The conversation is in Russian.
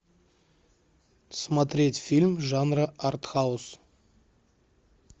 смотреть фильм жанра артхаус